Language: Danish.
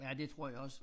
Ja det tror jeg også